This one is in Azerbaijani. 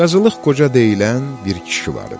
Qazılıq Qoca deyilən bir kişi var idi.